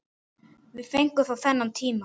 Við fengum þó þennan tíma.